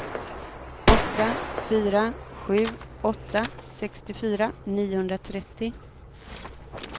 åtta fyra sju åtta sextiofyra niohundratrettio